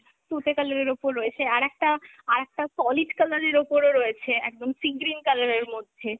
তুতে colour এর ওপর রয়েছে, আর একটা, আর একটা solid colour এর ওপরও রয়েছে একদম sea green colour এর মধ্যে